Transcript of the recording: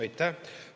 Aitäh!